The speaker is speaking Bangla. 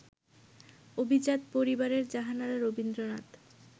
অভিজাত পরিবারের জাহানারা রবীন্দ্রনাথ